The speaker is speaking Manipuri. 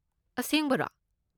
ꯑꯁꯦꯡꯕꯔꯣ!?